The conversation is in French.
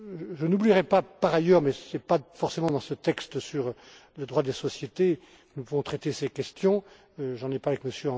Je n'oublierai pas par ailleurs, mais ce n'est pas forcément dans ce texte sur le droit des sociétés que nous devons traiter ces questions j'en ai parlé